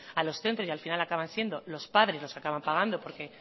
a los centros y al final acaban siendo los padres los que acaban pagando porque